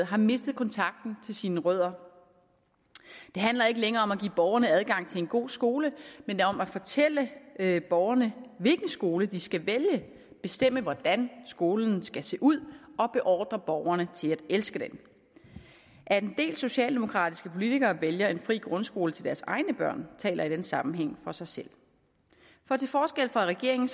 har mistet kontakten til sine rødder det handler ikke længere om at give borgerne adgang til en god skole men om at fortælle borgerne hvilken skole de skal vælge bestemme hvordan skolen skal se ud og beordre borgerne til at elske den at en del socialdemokratiske politikere vælger en fri grundskole til deres egne børn taler i den sammenhæng for sig selv for til forskel fra regeringen